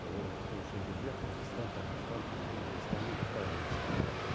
ол көрші елдерге қырғызстан тәжікстан өзбекстан мен қытайға экспортталады